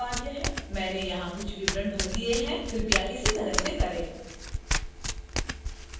मैंने यहां कुछ विवरण भर दिए हैं कृपया इसी तरह से करें